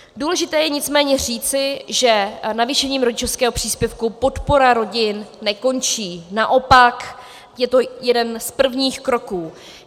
Důležité je nicméně říci, že navýšením rodičovského příspěvku podpora rodin nekončí, naopak, je to jeden z prvních kroků.